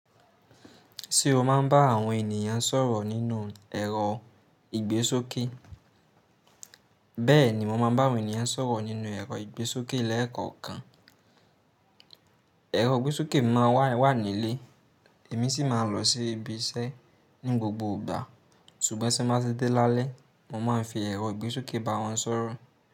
Ṣé o máa ń bá àwọn ènìyàn sọ̀rọ̀ nínú ẹ̀rọ ìgbésókè? Bẹ́ẹ̀ni, mo máa ń bá àwọn ènìyàn sọ̀rọ̀ nínú ẹ̀rọ ìgbésókè lẹ́ẹ̀kọ̀kan. Ẹ̀rọ ìgbésókè máa wà nílé, èmi sì máa ń lọ sí ibi iṣẹ́ ní gbogbo ìgbà. Ṣùgbọ́n tí mo bá ti dé lálẹ́, mo máa ń fi ẹ̀rọ ìgbésókè bá wọn sọ̀rọ̀